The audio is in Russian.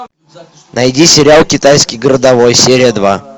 найди сериал китайский городовой серия два